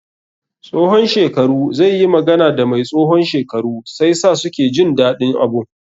Tsohon shekaru zai yi magana da mai tsohon shekaru sai sa suke jin daɗin abun.